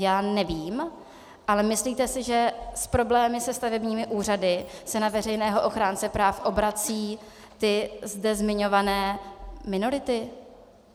Já nevím, ale myslíte si, že s problémy se stavebními úřady se na veřejného ochránce práv obracejí ty zde zmiňované minority?